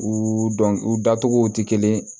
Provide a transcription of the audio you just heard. U dɔn u dacogo tɛ kelen ye